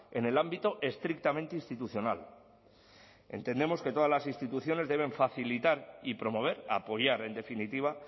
en el ámbito estrictamente institucional entendemos que todas las instituciones deben facilitar y promover apoyar en definitiva